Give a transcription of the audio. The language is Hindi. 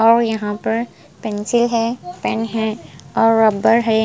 और यहाँ पर पेंसिल है पेन है और रबर है।